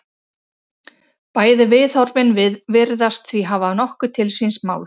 Bæði viðhorfin virðast því hafa nokkuð til síns máls.